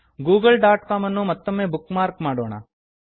Google dot ಕಾಮನ್ನು ಮತ್ತೊಮ್ಮೆ bookmark ಮಾಡೋಣ